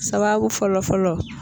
Sababu fɔlɔ fɔlɔ